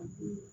Unhun